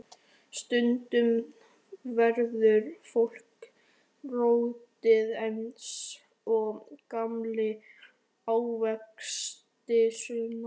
Stundum verður fólk rotið eins og gamlir ávextir, Sunna.